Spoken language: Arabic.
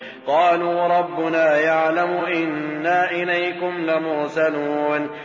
قَالُوا رَبُّنَا يَعْلَمُ إِنَّا إِلَيْكُمْ لَمُرْسَلُونَ